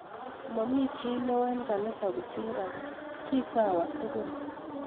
Mami chi neo eng kanisa kosir ake, kisawa tukul